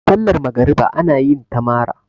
sallar magriba ana yinta mara